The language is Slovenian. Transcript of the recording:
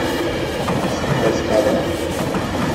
Skupaj spadava.